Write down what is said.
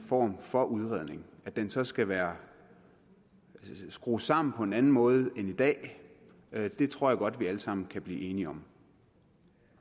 form for udredning at den så skal være skruet sammen på en anden måde end i dag tror jeg godt at vi alle sammen kan blive enige om